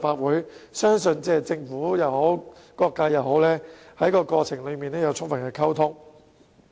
我相信政府及各界在過程中也有充分溝通。